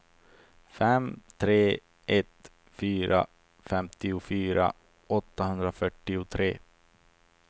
fem tre ett fyra femtiofyra åttahundrafyrtiotre